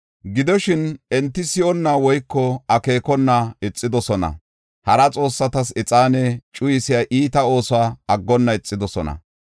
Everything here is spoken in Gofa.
Gidoshin, enti si7onna woyko akeekona ixidosona. Hara xoossatas ixaane cuyisiya iita oosuwa aggonna ixidosona.